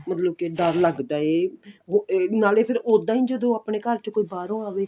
ਮਤਲਬ ਕੀ ਡਰ ਲੱਗਦਾ ਏ ਨਾਲੇ ਫਿਰ ਉੱਦਾਂ ਈ ਜਦੋਂ ਕੋਈ ਆਪਣੇ ਘਰ ਚ ਕੋਈ ਬਾਹਰੋ ਆਵੇ